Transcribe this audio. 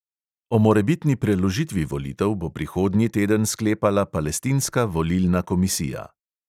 O morebitni preložitvi volitev bo prihodnji teden sklepala palestinska volilna komisija.